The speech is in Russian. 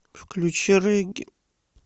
включи регги